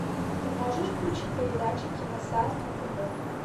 ты можешь включить передачу киносад на тв